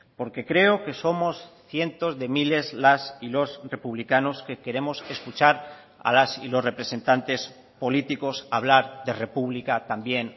porque creo que somos cientos de miles las y los republicanos que queremos escuchar a las y los representantes políticos hablar de república también